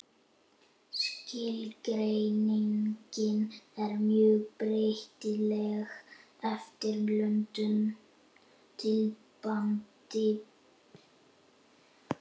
Skilgreiningin er mjög breytileg eftir löndum, tímabilum og menningarsvæðum.